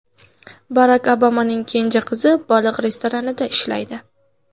Barak Obamaning kenja qizi baliq restoranida ishlaydi .